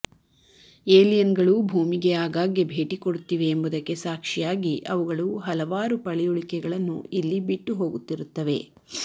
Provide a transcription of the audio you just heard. ಏಲಿಯನ್ಗಳು ಭೂಮಿಗೆ ಆಗಾಗ್ಗೆ ಭೇಟಿ ಕೊಡುತ್ತಿವೆ ಎಂಬುದಕ್ಕೆ ಸಾಕ್ಷಿಯಾಗಿ ಅವುಗಳು ಹಲವಾರು ಪಳೆಯುಳಿಕೆಗಳನ್ನು ಇಲ್ಲಿ ಬಿಟ್ಟು ಹೋಗುತ್ತಿರುತ್ತವೆ